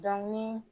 ni